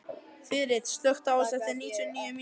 Þyrill, slökktu á þessu eftir níutíu og níu mínútur.